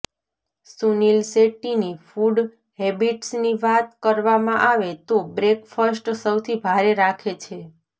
સુનિલ શેટ્ટીની ફૂડ હેબિટ્સની વાત કરવામાં આવે તો બ્રેકફસ્ટ સૌથી ભારે રાખે છે